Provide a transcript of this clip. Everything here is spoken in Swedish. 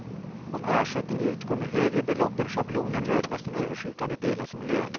Om ersättning utgår med högre belopp än schablonen räknas den överskjutande delen som lön.